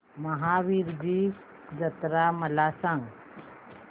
महावीरजी जत्रा मला सांग